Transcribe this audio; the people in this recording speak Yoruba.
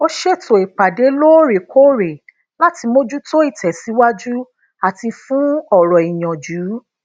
ó ṣètò ipade loorekoore lati mojuto itèsíwájú ati fun oro iyanju